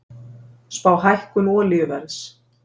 Spá hækkun olíuverðs